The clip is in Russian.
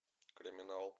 криминал